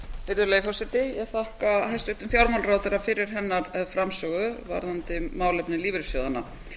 virðulegi forseti ég þakka hæstvirtum fjármálaráðherra fyrir hennar framsögu varðandi málefni lífeyrissjóðanna